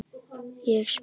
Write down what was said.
Ég spring.